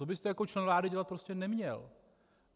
To byste jako člen vlády dělat prostě neměl.